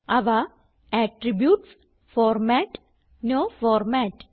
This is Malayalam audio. അവ അട്രിബ്യൂട്ട്സ് ഫോർമാറ്റ് നോ ഫോർമാറ്റ്